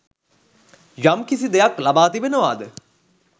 යම්කිසි දෙයක් ලබා තිබෙනවාද